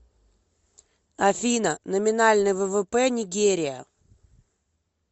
афина номинальный ввп нигерия